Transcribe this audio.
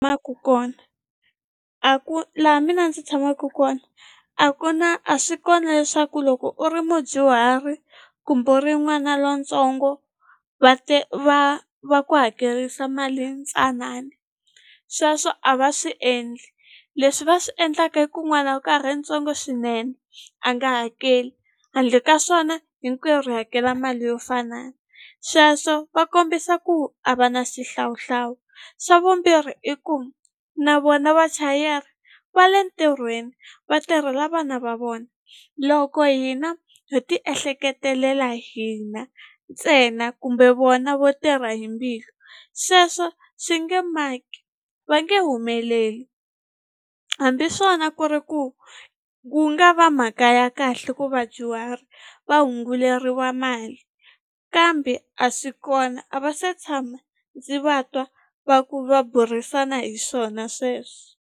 kona a ku laha mina ndzi tshamaku kona a ku na a swi kona leswaku loko u ri mudyuhari kumbe u ri n'wana lontsongo va va va ku hakerisa mali yintsanani sweswo a va swi endli leswi va swi endlaka i ku n'wana ri ntsongo swinene a nga hakeli handle ka swona hinkwerhu hi hakela mali yo fana sweswo va kombisa ku a va na xihlawuhlawu xa vumbirhi i ku na vona vachayeri va le ntirhweni vatirhela vana va vona loko hina ho ti ehleketelela hina ntsena kumbe vona vo tirha hi mbilu sweswo swi nge maki va nge humeleli hambi swona ku ri ku ku nga va mhaka ya kahle ku vadyuhari va hunguleriwa mali kambe a swi kona a va se tshama ndzi va twa va ku va burisana hi swona sweswo.